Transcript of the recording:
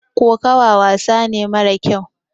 kokowa wasane mara kyau